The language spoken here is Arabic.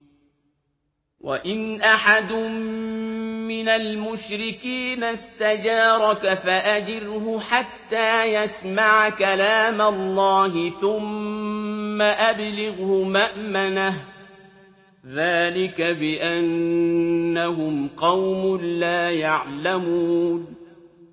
وَإِنْ أَحَدٌ مِّنَ الْمُشْرِكِينَ اسْتَجَارَكَ فَأَجِرْهُ حَتَّىٰ يَسْمَعَ كَلَامَ اللَّهِ ثُمَّ أَبْلِغْهُ مَأْمَنَهُ ۚ ذَٰلِكَ بِأَنَّهُمْ قَوْمٌ لَّا يَعْلَمُونَ